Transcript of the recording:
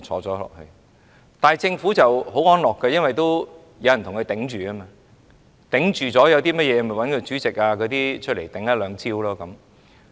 這樣政府便很安樂，因為有人為其招架，有甚麼問題便找主席及委員來招架。